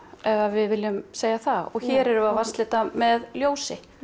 við viljum segja það og hér erum við að vatnslita með ljósi